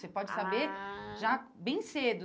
Ah Você pode saber já bem cedo.